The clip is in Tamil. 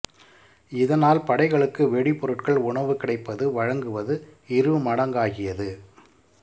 இதனால் படைகளுக்கு வெடி பொருட்கள் உணவு கிடைப்பது வழங்குவது இருமடங்காகியது